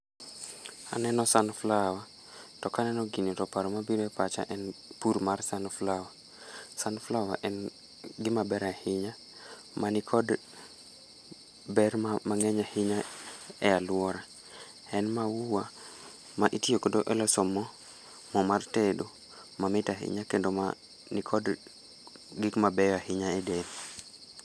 Aneno sunflower to kaneno gini to paro mabiro e pacha en pur mar sunflower. Sunflower en gima ber ahinya manikod ber mang'eny ahinya e alwora, en maua ma itiyogodo e loso mo mo mar tedo mamit ahinya kendo mani kod gik mabeyo ahinya e del.